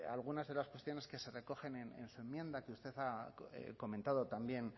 algunas de las cuestiones que se recogen en su enmienda que usted ha comentado también